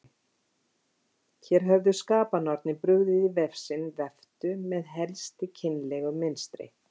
Hér höfðu skapanornir brugðið í vef sinn veftu með helsti kynlegu mynstri.